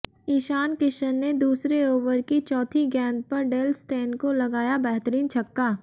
इशान किशन ने दूसरे ओवर की चौथी गेंद पर डेल स्टेन को लगाया बेहतरीन छक्का